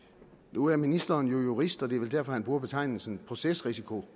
nu er ministeren jo jurist og det er vel derfor han bruger betegnelsen procesrisiko